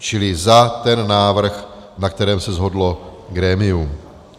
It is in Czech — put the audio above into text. Čili za ten návrh, na kterém se shodlo grémium.